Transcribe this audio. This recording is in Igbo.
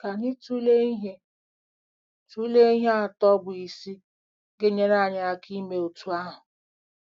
Ka anyị tụlee ihe tụlee ihe atọ bụ́ isi ga-enyere anyị aka ime otú ahụ.